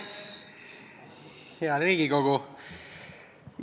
Hea Riigikogu!